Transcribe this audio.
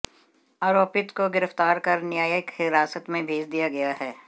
आरोपित को गिरफ्तार कर न्यायिक हिरासत में भेज दिया गया है